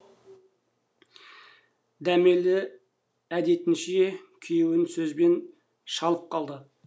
дәмелі әдетінше күйеуін сөзбен шалып қалды